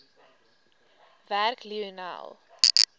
werk lionel